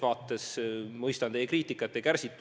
Ma mõistan teie kriitikat ja kärsitust.